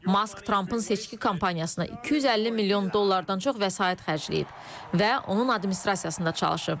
Mask Trampın seçki kampaniyasına 250 milyon dollardan çox vəsait xərcləyib və onun administrasiyasında çalışıb.